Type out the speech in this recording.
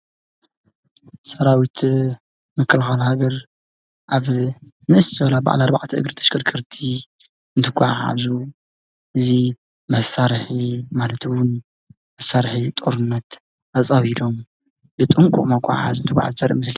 ሰራዊት ምክልኻል ሃገር አብ ንእስ ዝበላ በዓል አርባዕተ እግሪ ተሽከርከርቲ እንትጎዓዐዙ እዚ መሳርሒ ማለት ዉን መሳርሒ ጦርነት ኣፃዊዶም ብጥንቀቅ መጋዓዚታት መሳርሒታት ዘራኢ ምስሊ ።